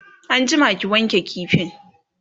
an jima ki wanke kifin!